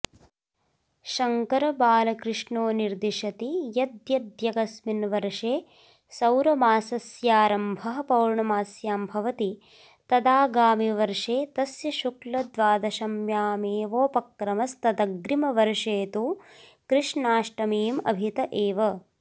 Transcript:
शङ्करबालकृष्णो निर्दशति यद्यद्यकस्मिन् वर्षे सौरमासस्यारम्भः पौर्णमास्यां भवति तदागामिवर्षे तस्य शुक्लद्वादश्यामेवोपक्रमस्तदग्निमवर्षे तु कृष्णाष्टमी मभित एव